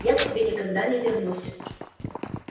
я к тебе никогда не вернусь